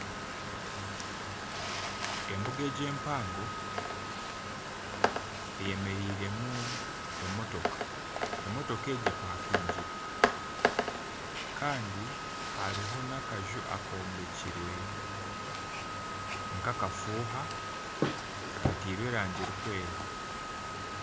Embuga egi empaango eyemereiremu emotoka emotooka egi epakingire Kandi hariho nakaju akombekirwe nkakafuuha katairwe erangi erikwera